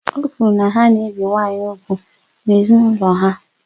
Ọ kwuru na ha na-ebi nwanyị úgwù n'ezinaulo ha